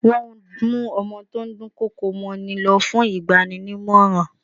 Wọ́n mú ọmọ tó ń dùn kọkò mọ́ ni lọ fún ìgbaninímọ̀ràn.